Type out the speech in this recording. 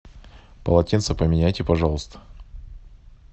полотенца поменяйте пожалуйста